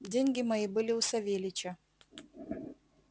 деньги мои были у савельича